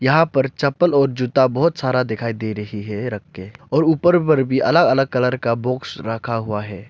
यहां पर चप्पल और जूता बहुत सारा दिखाई दे रही है रख के और ऊपर पर भी अलग अलग कलर का बॉक्स रखा हुआ है।